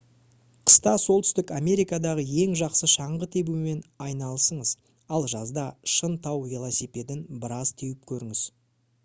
қыста солтүстік америкадағы ең жақсы шаңғы тебумен айналысыңыз ал жазда шын тау велосипедін біраз теуіп көріңіз